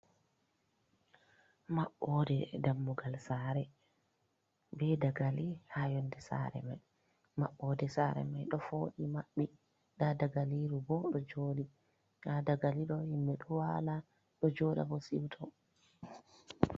Maɓɓode dammugal sare, be daga li ha yonde sare mai, maɓɓode sare mai ɗo foɗii maɓɓi, nda daga liru bo ɗo joɗi, ha daga li ɗo himɓe ɗo wala, ɗo joɗa bo siuto.